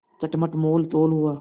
चटपट मोलतोल हुआ